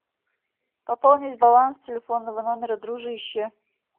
пополнить баланс телефонного номера дружище